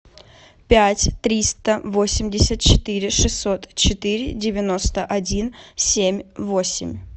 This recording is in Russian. пять триста восемьдесят четыре шестьсот четыре девяносто один семь восемь